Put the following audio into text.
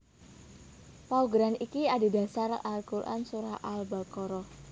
Paugeran iki adhedhasar Al Quran Surah Al Baqarah